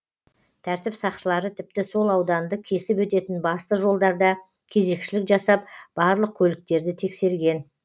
тәртіп сақшылары тіпті сол ауданды кесіп өтетін басты жолдарда кезекшілік жасап барлық көліктерді тексерген